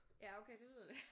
Ja okay det lyder da